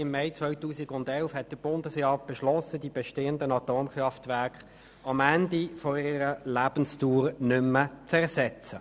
Im Mai 2011 beschloss der Bundesrat, die bestehenden Atomkraftwerke am Ende ihrer Lebensdauer nicht mehr zu ersetzen.